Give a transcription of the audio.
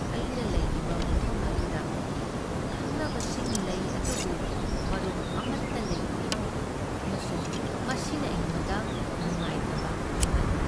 ꯑꯩꯅ ꯂꯩꯔꯤꯕ ꯃꯐꯝ ꯑꯗꯨꯗ ꯈꯪꯅꯕꯁꯤꯡ ꯂꯩ ꯑꯗꯨꯕꯨ ꯃꯔꯨꯞ ꯑꯃꯠꯇ ꯂꯩꯇꯦ ꯑꯃꯁꯨꯡ ꯃꯁꯤꯅ ꯑꯩꯉꯣꯟꯗ ꯅꯨꯡꯉꯥꯏꯇꯕ ꯐꯥꯎꯍꯜꯂꯤ ꯫